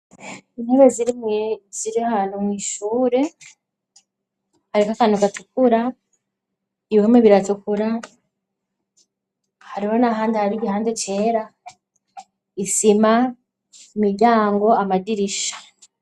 Intebe zirimwe zirahantu mw’ishure ,harihakantu gatukura, ibihome biratukura ,hariho n'ahandi har’igihande cera, isima ,imiryango amadirisha.